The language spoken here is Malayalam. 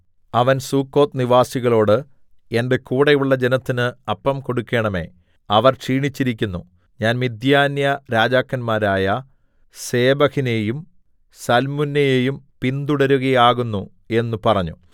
അവൻ സുക്കോത്ത് നിവാസികളോട് എന്റെ കൂടെയുള്ള ജനത്തിന് അപ്പം കൊടുക്കണമേ അവർ ക്ഷീണിച്ചിരിക്കുന്നു ഞാൻ മിദ്യാന്യരാജാക്കന്മാരായ സേബഹിനെയും സൽമുന്നയെയും പിന്തുടരുകയാകുന്നു എന്നു പറഞ്ഞു